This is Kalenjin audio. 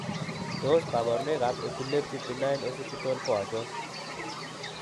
Tos kabarunoik ab Epilepsy, benign occipital ko achon?